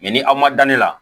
ni aw ma da ne la